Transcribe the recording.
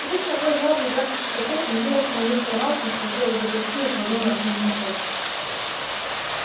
пнув ногой жалобно звякнувший котёл он ринулся на мистера малфоя схватил его за грудки и швырнул на книжную полку